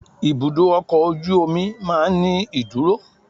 Ibùdó ọkọ̀ ojú omi máa ń ní ìdúró.